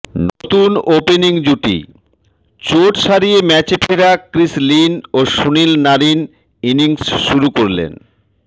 নতুন ওপেনিং জুটি চোট সারিয়ে ম্যাচে ফেরা ক্রিস লিন ও সুনীল নারিন ইনিংস শুরু করলেন